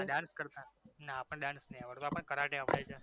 ના dance કરતા ના આપડને dance નહિ આવડતો આપણને કરાટે આવડે છે